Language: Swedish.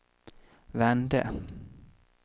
vände